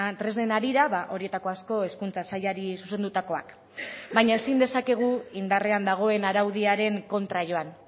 tresnen harira horietako asko hezkuntza sailari zuzendutakoak baina ezin dezakegu indarrean dagoen araudiaren kontra joan